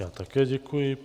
Já také děkuji.